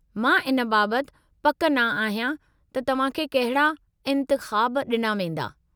मां इन बाबति पक न आहियां त तव्हां खे कहिड़ा इंतिख़ाब ॾिना वेंदा।